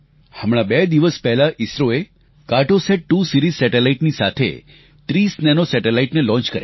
હમણાં બે દિવસ પહેલા ઇસરોએ કાર્ટોસેટ2 સીરીઝ સેટેલાઇટ ની સાથે 30 નેનો સેટેલાઇટ ને લોન્ચ કર્યા